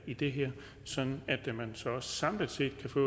i det her sådan at man samlet set kan få